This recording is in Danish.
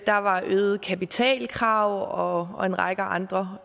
der var øgede kapitalkrav og og en række andre